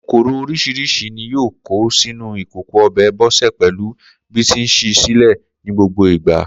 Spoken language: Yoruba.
Kòkòrò orís̩irís̩i ní yóò kó sínú ikòkò o̩bè̩ Bó̩sè̩ pè̩lú bí ti ń s̩í i sílè̩ ní gbogbo ìgbà